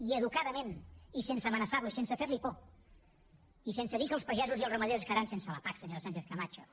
i educadament i sense amenaçar lo i sense fer li por i sense dir que els pagesos i els ramaders es quedaran sense la pac senyora sánchez camacho